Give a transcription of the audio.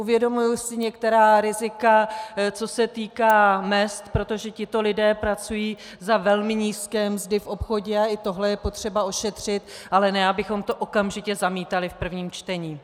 Uvědomuji si některá rizika, co se týká mezd, protože tito lidé pracují za velmi nízké mzdy v obchodě a i tohle je potřeba ošetřit, ale ne abychom to okamžitě zamítali v prvním čtení.